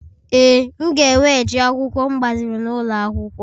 Ee, m ga-eweghachi akwụkwọ m gbaziri n'ụlọ akwụkwọ.